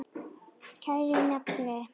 Kæri nafni.